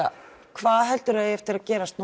hvað heldurðu að eigi eftir að gerast